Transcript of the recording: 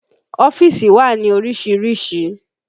Ọ́fíìsì wà ní orísìírísìí